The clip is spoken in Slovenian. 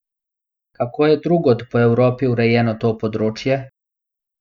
Kako je drugod po Evropi urejeno to področje?